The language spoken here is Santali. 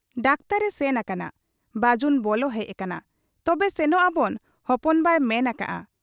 ᱰᱟᱠᱛᱚᱨ ᱮ ᱥᱮᱱ ᱟᱠᱟᱱᱟ ᱾ ᱵᱟᱹᱡᱩᱱ ᱵᱚᱞᱚ ᱦᱮᱡ ᱟᱠᱟᱱᱟ, 'ᱛᱚᱵᱮ ᱥᱮᱱᱚᱜ ᱟᱵᱚᱱ ᱦᱚᱯᱚᱱ ᱱᱟᱭ ᱢᱮᱱ ᱟᱠᱟᱜ ᱟ ᱾